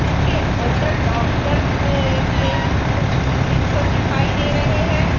जिसके अंदर डॉक्टर ने के कुछ प्रिस्क्रिप्शन दिखाई दे रहे है।